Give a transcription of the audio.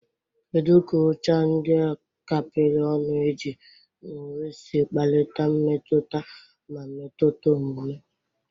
Kedu ka ụcha ndị a kapịrị ọnụ eji na uwe si kpalite mmetụta ma metụta omume?